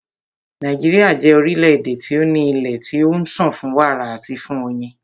Nàíjíríà jẹ́ orílẹ̀-èdè tí o ní ilé tí ó ń sàn fún wàrà àti fún oyin.